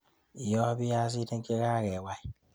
Yooy biyasinik che kakeway